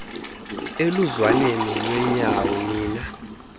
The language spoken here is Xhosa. eluzwaneni lwenyawo nina